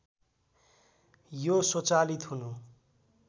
यो स्वचालित हुनु